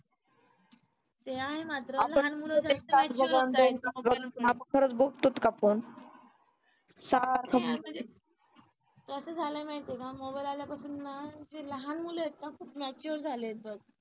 याही मात्र लहान मुलं जास्त mature होत आहेत कसं झालं माहिती आहे का मोबाईल आल्यापासून ना की जे लहान मुल आहेत ना खूप mature झालेत बघ.